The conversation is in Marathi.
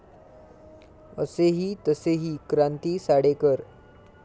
असेही तसेही क्रांती साडेकर